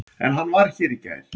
En hann var hér í gær.